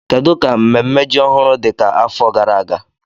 Kedu ka mmemme ji ọhụrụ dị ka afọ gara aga?